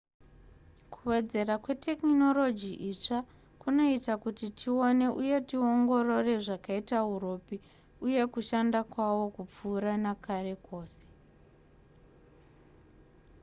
kuwedzera kwetekinoroji itsva kunoita kuti tione uye tiongorore zvakaita uropi uye kushanda kwawo kupfuura nakare kose